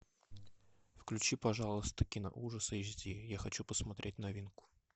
включи пожалуйста кино ужасы эйч ди я хочу посмотреть новинку